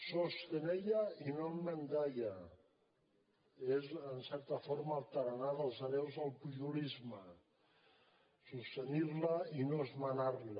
sostenella y no enmendalla és en certa forma el tarannà dels hereus del pujolisme sostenir la i no esmenar la